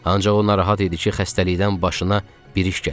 Ancaq o narahat idi ki, xəstəlikdən başına bir iş gələr.